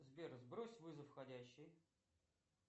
сбер сбрось вызов входящий